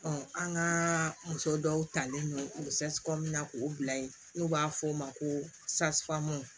an ka muso dɔw talen don u na k'o bila yen n'u b'a f'o ma ko